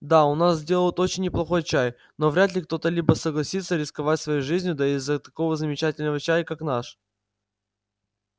да у нас делают очень неплохой чай но вряд ли кто-либо согласится рисковать своей жизнью даже из-за такого замечательного чая как наш